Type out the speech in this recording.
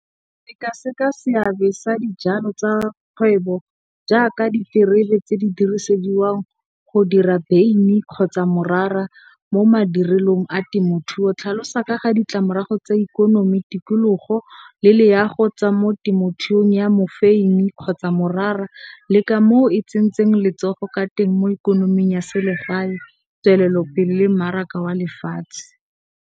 Sekaseka seabe sa dijalo tsa kgwebo jaaka, ditirebe tse di dirisediwang go dira beine kgotsa morara mo madirelong a temothuo. Tlhalosa ka ga ditlamorago tse di ikonomi, tikologo le loago tsa temothuo ya mofeine kgotsa morara le ka moo e tsentseng letsogo ka teng mo ikonoming ya selegae, tswelelopele le mmaraka wa lefatshe.